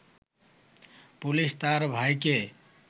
police তার ভাইকে